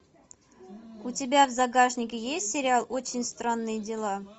у тебя в загашнике есть сериал очень странные дела